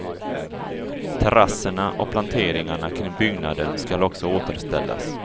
Terrasserna och planteringarna kring byggnaden skall också återställas.